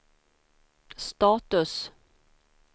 status